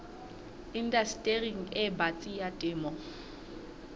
indastering e batsi ya temo